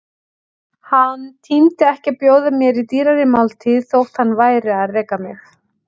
Hann tímdi ekki að bjóða mér í dýrari máltíð, þótt hann væri að reka mig.